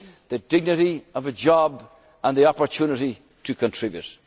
of work. The dignity of a job and the opportunity